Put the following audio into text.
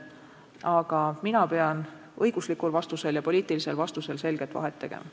Aga mina pean õiguslikul vastusel ja poliitilisel vastusel selget vahet tegema.